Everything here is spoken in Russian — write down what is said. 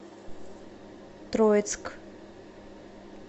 троицк